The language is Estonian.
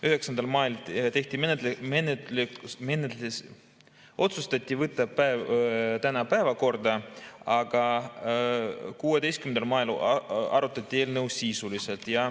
9. mail tehti menetluslikud, otsustati võtta täna päevakorda, aga 16. mail arutati eelnõu sisuliselt.